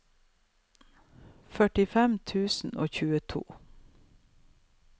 førtifem tusen og tjueto